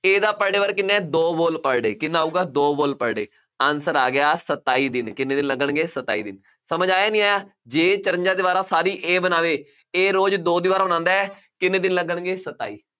A ਦਾ per day work ਕਿੰਨਾ ਹੈ, ਦੋ wall per day ਕਿੰਨਾ ਆਊਗਾ, ਦੋ wall per day ਆ ਗਿਆ ਸਤਾਈ ਦਿਨ, ਕਿੰਨੇ ਦਿਨ ਲੱਗਣਗੇ, ਸਤਾਈ ਦਿਨ, ਸਮਝ ਆਇਆ ਨਹੀਂ ਆਇਆ, ਜੇ ਇਹ ਚੁਰੰਜ਼ਾ ਦੀਵਾਰਾਂ ਸਾਰੀ A ਬਣਾਵੇ, A ਰੋਜ਼ ਦੋ ਦੀਵਾਰਾਂ ਬਣਾਉਂਦਾ ਹੈ, ਕਿੰਨੇ ਦਿਨ ਲੱਗਣਗੇ, ਸਤਾਈ ਦਿਨ,